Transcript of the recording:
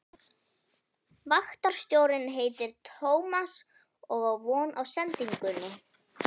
Vaktstjórinn heitir Tómas og á von á sendingunni.